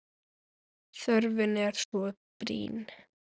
Þörfin er svo brýn.